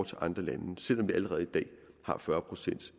til andre lande selv om vi allerede i dag har fyrre procent